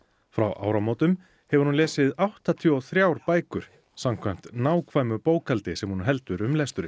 frá áramótum hefur hún lesið áttatíu og þrjár bækur samkvæmt nákvæmu bókhaldi sem hún heldur um lesturinn